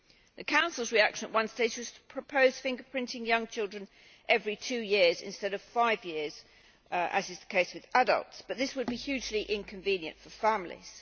The Council's reaction at one stage was to propose fingerprinting young children every two years instead of five years, as is the case with adults, but that would be hugely inconvenient for families.